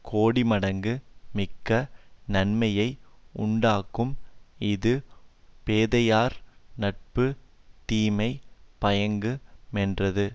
கோடிமடங்கு மிக்க நன்மையை உண்டாக்கும் இது பேதைமையார் நட்பு தீமை பயக்கு மென்றது